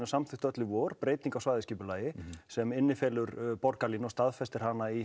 samþykktu öll í vor breytingu á svæðisskipulagi sem innifelur borgarlínu og staðfestir hana í